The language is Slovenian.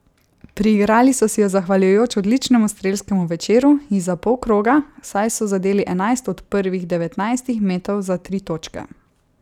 Priigrali so si jo zahvaljujoč odličnemu strelskemu večeru izza polkroga, saj so zadeli enajst od prvih devetnajstih metov za tri točke.